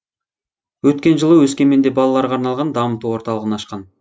өткен жылы өскеменде балаларға арналған дамыту орталығын ашқан